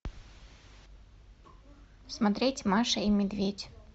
смотреть маша и медведь